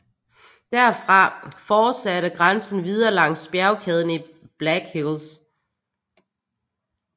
Derfra forsatte grænsen videre langs bjergkæden i Black Hills